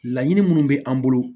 Laɲini minnu bɛ an bolo